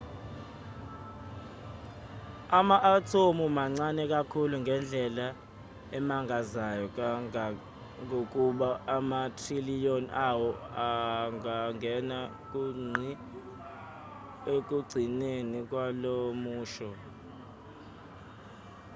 ama-athomu mancane kakhulu ngendlela emangazayo kangangokuba ama-trillion awo angangena ku ngqi ekugcineni kwalomusho